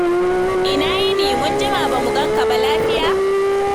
Ina yini? Mun jima ba mu gan ka ba. Lafiya?